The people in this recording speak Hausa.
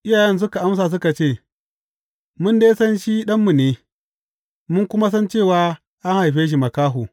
Iyayen suka amsa suka ce, Mun dai san shi ɗanmu ne, mun kuma san cewa an haife shi makaho.